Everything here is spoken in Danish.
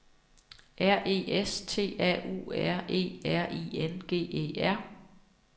R E S T A U R E R I N G E R